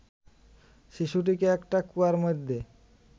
শিশুটিকে একটা কুয়ার মধ্যে